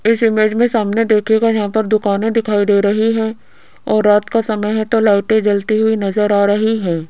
इस इमेज में सामने देखिएगा यहां पर दुकाने दिखाई दे रही हैं और रात का समय है तो लाइटें जलती हुई नजर आ रही हैं।